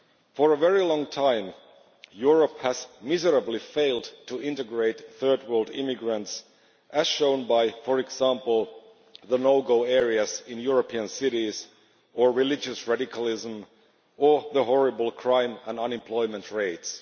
For a very long time, Europe has failed miserably to integrate third-world immigrants, as shown, for example, by the no go areas in European cities, religious radicalism, and the horrible crime and unemployment rates.